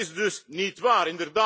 Dat is dus niet waar!